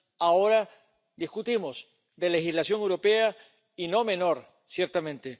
ahora discutimos de legislación europea, y no menor, ciertamente.